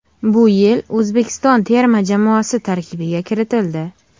Bu yil O‘zbekiston terma jamoasi tarkibiga kiritildi.